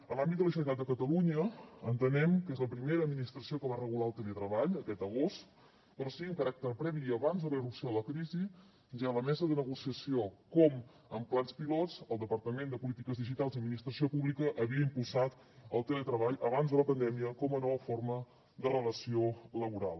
en l’àmbit de la generalitat de catalunya entenem que és la primera administració que va regular el teletreball aquest agost però sí amb caràcter previ i abans de la irrupció de la crisi ja a la mesa de negociació com amb plans pilots el departament de polítiques digitals i administració pública havia impulsat el teletreball abans de la pandèmia com a nova forma de relació laboral